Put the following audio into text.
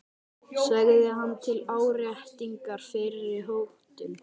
sagði hann til áréttingar fyrri hótun.